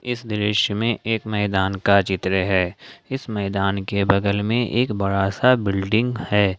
इस दृश्य में एक मैदान का चित्र है इस मैदान के बगल में एक बड़ा सा बिल्डिंग है।